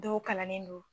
Dɔw kalannen don